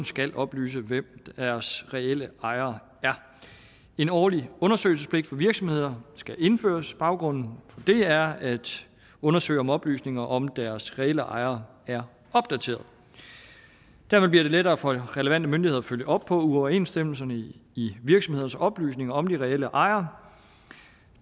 skal oplyse hvem deres reelle ejere er en årlig undersøgelsespligt for virksomheder skal indføres baggrunden for det er at undersøge om oplysninger om deres reelle ejere er opdateret dermed bliver det lettere for relevante myndigheder at følge op på uoverensstemmelser i virksomhedernes oplysninger om de reelle ejer